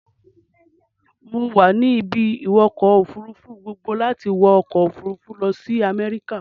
Mo wà ní ibi-ìwọkọ̀-òfurufú gboogbo láti wọ ọkọ-òfurufú lọ sí America.